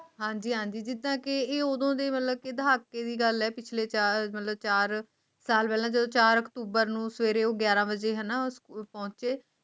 ਹਾਂਜੀ ਹਾਂਜੀ ਕਿੱਦਾਂ ਕਹਿ ਉਦੋਂ ਢਾਕੇ ਦੀ ਗੱਲ ਹੈ ਪਿਛਲੇ ਚਾਰ ਸਾਲ ਪਹਿਲੇ ਚਾਰ ਅਕਤੂਬਰ ਨੂੰ ਸਵੇਰੇ ਉਹ ਗਿਆਰਾਂ ਵਜੇ ਹਨ ਪਹੁੰਚੇ